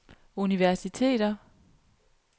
universiteter